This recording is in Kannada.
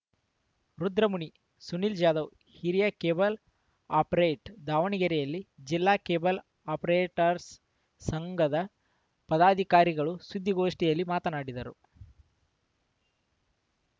ರುದ್ರಮುನಿ ಸುನಿಲ್‌ ಜಾಧವ್‌ ಹಿರಿಯ ಕೇಬಲ್‌ ಆಪರೇಟ್ ದಾವಣಗೆರೆಯಲ್ಲಿ ಜಿಲ್ಲಾ ಕೇಬಲ್‌ ಆಪರೇಟರ್ಸ್ ಸ್ ಸಂಘದ ಪದಾಧಿಕಾರಿಗಳು ಸುದ್ದಿಗೋಷ್ಠಿಯಲ್ಲಿ ಮಾತನಾಡಿದರು